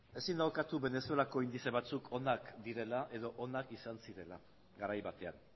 ezin da ukatu venezuelako indize batzuk onak direla edo onak izan zirela garai batean